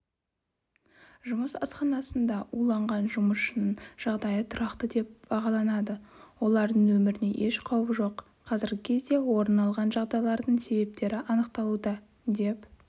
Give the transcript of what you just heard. жұмыс асханасында уланған жұмысшының жағдайы тұрақты деп бағаланады олардың өміріне еш қауіп жоқ қазіргі кезде орын алған жағдайдың себептері анықталуда деп